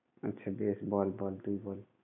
আচ্ছা বেশ, বল বল তুই বল।